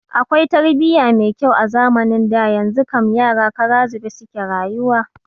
Akwai tarbiya mai kyau a zamanin da, yanzu kam yara kara zube suke rayuwa